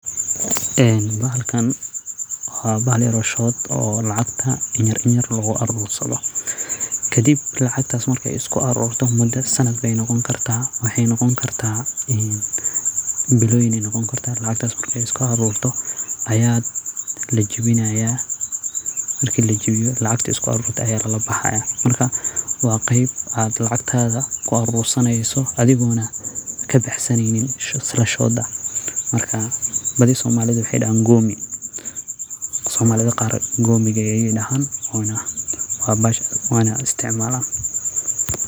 Bahalkan wa bahal yaro lacagta inyar inyar loguarursado kadib muda ayey noqoni karta biloyin ayey noqoni karta makra ey lacagta iskuarurtoo aya lajawinayan lacagtana lalabaxaya marka wa qeyb lacsgta ad kuarursaneyso adigona kabaxsaneynin islashoda marka badii somalida wexey dahan gomiiga oo bahasha isticmalan.